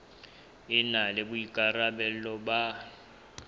e na le boikarabelo ba